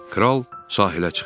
Kral sahilə çıxdı.